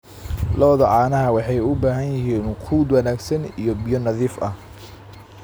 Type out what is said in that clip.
Lo'da caanaha waxay u baahan yihiin quud wanaagsan iyo biyo nadiif ah.